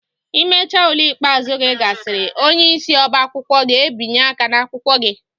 Imecha ule ikpeazụ gị gasịrị, onyeisi ọbá akwụkwọ ga-ebinye aka ná akwụkwọ gị.